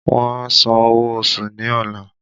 Wọn a san owó oṣù ní ọla